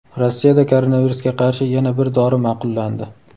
Rossiyada koronavirusga qarshi yana bir dori ma’qullandi.